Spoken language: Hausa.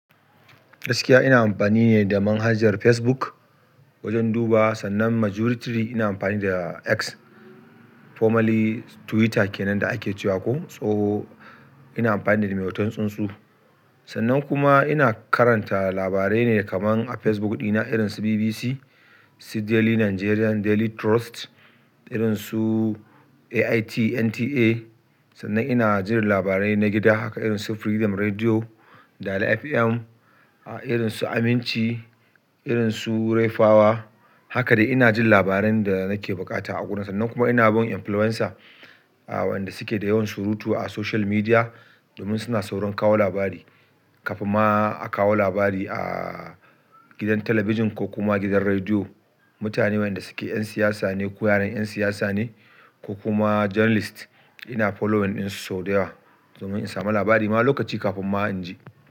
Gaskiya ina amfani ne da manhajar Facebook wajen dubawa, sannan majority ina amfani da X formerly Twitter kenan da ake cewa ko tsoho. Ina amfani da mai hoton tsunsu. Sannan kuma ina karanta labarai ne kaman a facebook dina, irinsu bbc, su daily nigerian daily trust irin su AIT, NTA. Sannan ina jin labarai na gida haka irin su Freedom Radio, Dala FM, a irin su Aminci, irin su Rayfawa. Haka dai inajin labarai da nake bukata a gurin, sanna kuma ina bin su influwensa wanda suke da yawan surutu a social media domin suna saurn kawo labari kafin ma a kawo labari a gidan talabijin ko kuma gidan rediyo. Mutane wayanda suke 'yan siyasa ne ko yaran 'yan siyasa ne ko kuma journalist ina following ɗinsu sau da yawa, domin in samu labari ma lokaci kafin ma in ji.